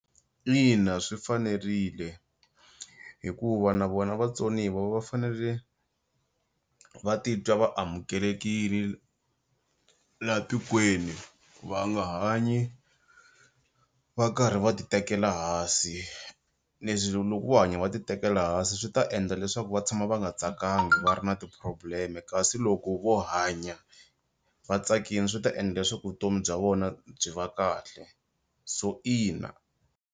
Ina swi fanerile hikuva na vona vatsoniwa va fanele va titwa va amukelekini la tikweni va nga hanyi va karhi va ti tekela hansi leswi loko vo hanya va ti tekela hansi swi ta endla leswaku va tshama va nga tsakangi va ri na ti-problem-e kasi loko vo hanya vatsakini swi ta endla leswaku vutomi bya vona byi va kahle so ina.